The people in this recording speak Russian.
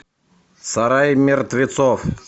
сарай мертвецов